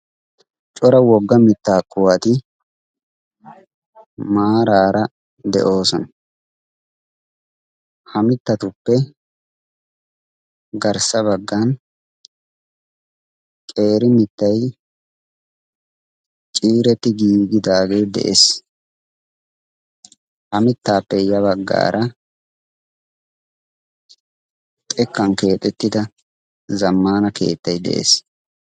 cora wogga mittaa kuwati maaraara de'oosona ha mittatuppe garssa baggan qeeri mittay ciireti giigidaagee de'ees ha mittaappe ya baggaara xekkan keexettida zammana keettay de'ees